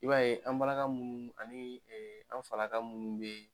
I b'a ye an' balaka munnu ani an' falaka munnu be